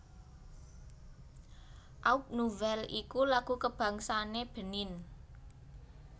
Aube Nouvelle iku lagu kabangsané Benin